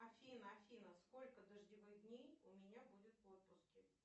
афина афина сколько дождевых дней у меня будет в отпуске